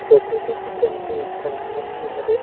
Photo देखत हन ते ह एक ठन घर के हरे।